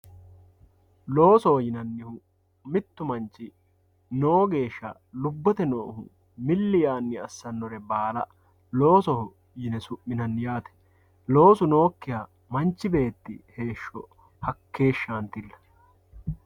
loosoho yinannihu mittu manchi noo geeshsha lubbote noohu milli yaanni assannore baala loosoho yine su'minanni yaate loosu nookkiha manchu beetti heeshsho hakkeeshshantilla.